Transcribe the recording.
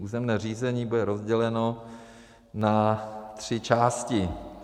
Územní řízení bude rozděleno na tři části.